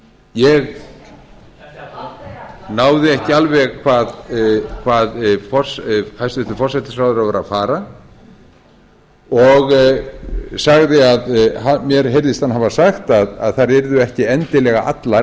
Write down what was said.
ég náði ekki alveg hvað hæstvirtur forsætisráðherra var að fara mér heyrðist hann hafa sagt að þær yrðu ekki endilega allar